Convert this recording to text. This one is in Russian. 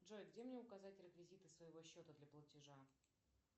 джой где мне указать реквизиты своего счета для платежа